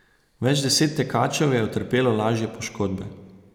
Več deset tekačev je utrpelo lažje poškodbe.